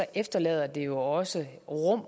efterlader det jo også rum